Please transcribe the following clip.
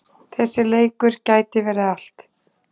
Þessi leikur gæti verið allt.